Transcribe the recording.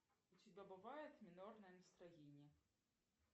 у тебя бывает минорное настроение